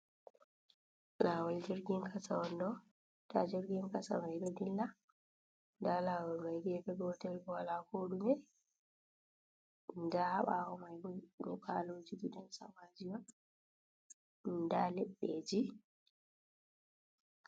Lawol jirgin kasa on ɗo ɗa jirgin kasa mai do dilla da lawol mai gefe gotel bo wala kodume da ha bawo mai yiɓaloji gidansamaji wada leɗɗeji.